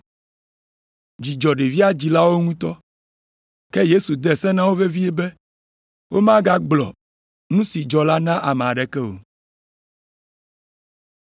Dzi dzɔ ɖevia dzilawo ŋutɔ. Ke Yesu de se na wo vevie be womegagblɔ nu si dzɔ la na ame aɖeke o.